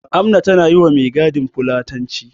Amna tana yi wa mai gadin fulatanci.